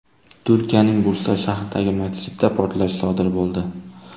Turkiyaning Bursa shahridagi masjidda portlash sodir bo‘ldi.